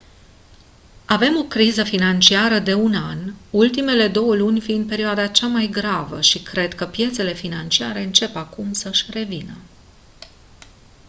«avem o criză financiară de un an ultimele două luni fiind perioada cea mai gravă și cred că piețele financiare încep acum să-și revină».